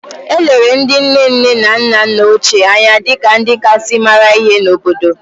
E lere ndị nne nne na nna nna ochie anya dị ka ndị kasị mara ihe n’obodo